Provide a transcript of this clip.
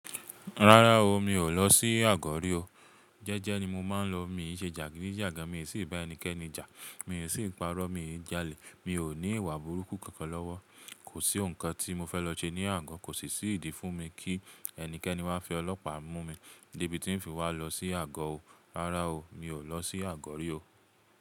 Rárá o, mi ò lọ sí Àgọ̀ rí o. Jẹ́jẹ́ ni mo máa ń lọ, mi ò ṣe jàgídíjàgan, mi ò sì bá ẹnikẹ́ni jà, mi ò sì ń parọ́, mi ò ń jalè, mi ò ní ìwà burúkú kankan lọ́wọ́. Kò sí ohun kan tí mo fẹ́ lọ ṣe ní Àgọ́, kò sì sí ìdí fún mi kí ẹnikẹ́ni wa fi ọlọ́pàá mú mi dé ibi tí ń fi wá lọ sí Àgọ́ o. Rárá o, mi ò lọ sí Àgọ́ rí o.